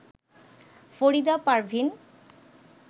Farida Parvin